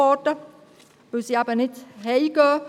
Sie kehren eben nicht nach Hause zurück.